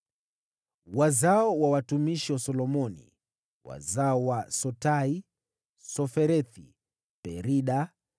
Wazao wa watumishi wa Solomoni: wazao wa Sotai, Soferethi, Perida,